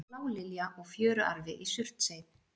Blálilja og fjöruarfi í Surtsey.